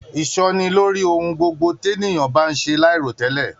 Isọ́ni lórí ohùn gbogbo t'eniyan ba se lairotẹlẹ